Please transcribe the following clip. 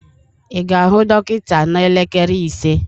ị ga-ahụ dọkịta n'elekere ise?